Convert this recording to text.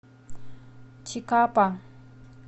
чикапа